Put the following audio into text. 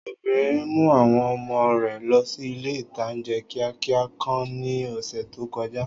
Obìnrin mú àwọn ọmọ rẹ̀ lọ sí ilé-ìtánjẹ́ kíákíá kan ní ọ̀sẹ̀ tó kọjá